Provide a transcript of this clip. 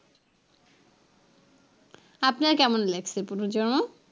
আপনার কেমন লাগছে পুনর্জন্ম?